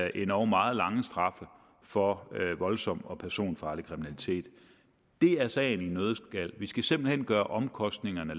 endog meget lange straffe for voldsom og personfarlig kriminalitet det er sagen i en nøddeskal vi skal simpelt hen gøre omkostningerne